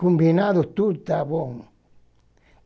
Combinado tudo, tá bom?